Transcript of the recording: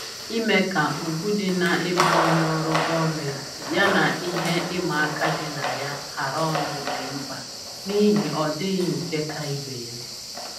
Ime ka ugwu dị na-ịbụ onye n'ọrụ gọọmentị yana ihe ịma aka dị na ya hara ọnụ dị mkpa n'ihi ọdịghị nke ka ibe ya